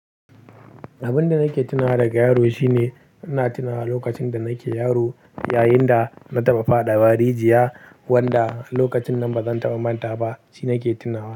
Abin da nake tunawa daga yaro shine ina tunawa lokacin da nake yaro yayin da na taɓa faɗa wa rijiya wanda lokacin nan bazan taɓa manta ba. Shi na ke tunawa.